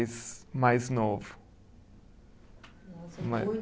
mais novo. Nossa